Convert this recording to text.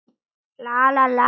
Líf hennar lá við.